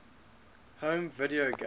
home video game